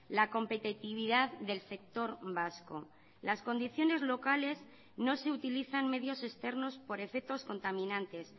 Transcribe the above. la competitividad del sector vasco las condiciones locales no se utilizan medios externos por efectos contaminantes